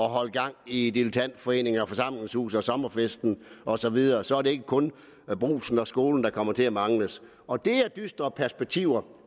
at holde gang i dilettantforeningen forsamlingshuset sommerfesten og så videre så er det ikke kun brugsen og skolen man kommer til at mangle og det er dystre perspektiver